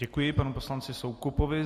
Děkuji panu poslanci Soukupovi.